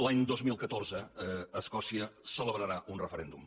l’any dos mil catorze escòcia celebrarà un referèndum